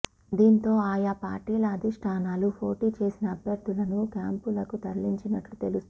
దీంతో ఆయా పార్టీల అధిష్టానాలు పోటీ చేసిన అభ్యర్థులను క్యాంపులకు తరలించినట్టు తెలుస్తోంది